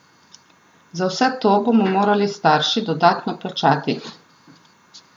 Za vse to bomo morali starši dodatno plačati.